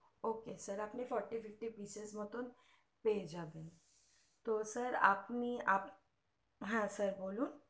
ok sir আপনি forty fifty prices মতো পেয়ে যাবেন তো sir আপনি আপনি হ্যাঁ sir বলুন